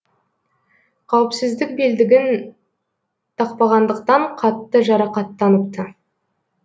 қауіпсіздік белдігін тақпағандықтан қатты жарақаттаныпты